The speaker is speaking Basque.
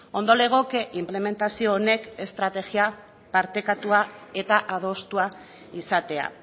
ondo legoke inplementazio honek estrategia partekatua eta adostua izatea